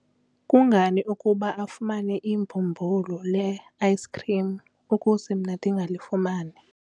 kungani ukuba afumane ibhumbulu le-ayisikhrim ukuze mna ndingalifumani?